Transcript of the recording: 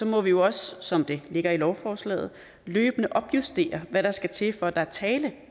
må vi jo også som det ligger i lovforslaget løbende opjustere hvad der skal til for at der er tale